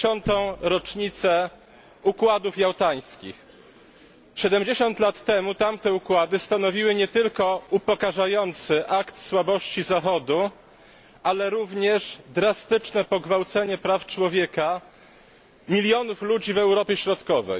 70. rocznicę układów jałtańskich. 70 lat temu tamte układy stanowiły nie tylko upokarzający akt słabości Zachodu, ale również drastyczne pogwałcenie praw człowieka milionów ludzi w Europie Środkowej.